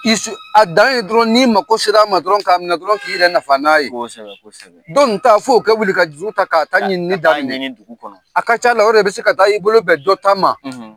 Isu a dan ye dɔrɔn n'i mako ser'a ma dɔrɔn, k'a minɛ dɔrɔn, k'i yɛrɛ nafa n'a ye, kosɛbɛ, dɔ nin ta fo ka wuli ka juru ta, k'a ta ɲinini daminɛ, ka taa ɲini dugu kɔnɔ, a ka ca la, o de la i bɛ se ka taa, i bolo bɛn dɔ ta ma